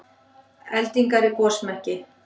Eldingar í gosmekki